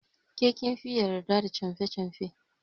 Ke kin fiye yarda da canfe canfe.